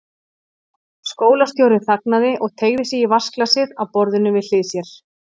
Skólastjórinn þagnaði og teygði sig í vatnsglasið á borðinu við hlið sér.